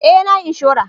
Eh na yi inshora